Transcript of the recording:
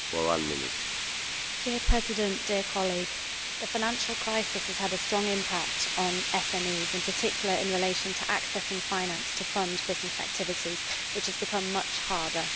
Mr President, the financial crisis has had a strong impact on SMEs, particularly in relation to accessing finance to fund business activities, which has become much harder.